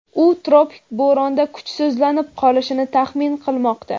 u tropik bo‘ronda kuchsizlanib qolishini taxmin qilmoqda.